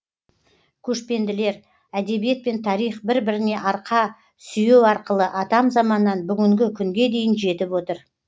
көшпенділер әдебиет пен тарих бір біріне арқа сүйеу арқылы атам заманнан бүгінгі күнге дейін жетіп отыр